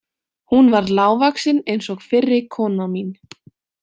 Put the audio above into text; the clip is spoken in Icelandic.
Hún var lágvaxin eins og fyrri kona mín.